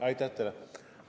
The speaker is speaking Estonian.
Aitäh teile!